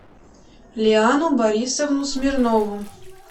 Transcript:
лиану борисовну смирнову